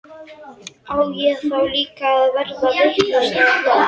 Á ég þá líka að verða vitlaus eða hvað?